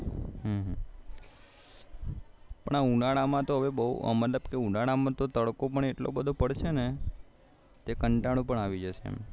પણ આ ઉનાળા માં તો તડકો પણ એટલો બધો પડે છે ને કંટાળો પણ આવી જય છે